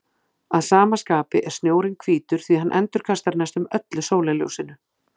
Að sama skapi er snjórinn hvítur því hann endurkastar næstum öllu sólarljósinu.